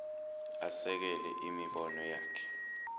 asekele imibono yakhe